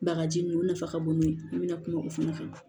Bagaji nunnu nafa ka bon n'o ye an bɛna kuma o fana kan